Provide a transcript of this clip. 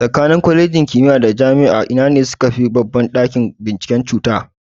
Tsakanin Kwalejin kimiya da Jami'a ina ne sukafi babban ɗakin bincike cuta?